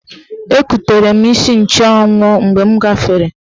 Ekutere m isi nchụanwụ mgbe m gafere.